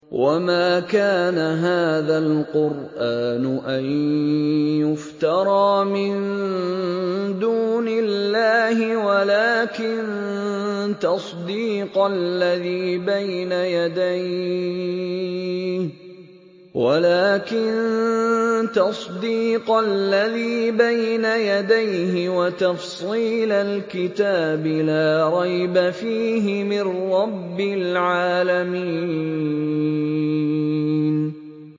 وَمَا كَانَ هَٰذَا الْقُرْآنُ أَن يُفْتَرَىٰ مِن دُونِ اللَّهِ وَلَٰكِن تَصْدِيقَ الَّذِي بَيْنَ يَدَيْهِ وَتَفْصِيلَ الْكِتَابِ لَا رَيْبَ فِيهِ مِن رَّبِّ الْعَالَمِينَ